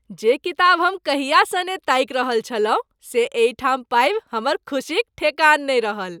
जे किताब हम कहियासँ ने ताकि रहल छलहुँ से एहिठाम पाबि हमर खुसीक ठेकान नहि रहल।